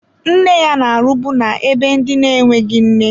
Nne ya na-arụbu na-ebe ndị na-enweghị nne.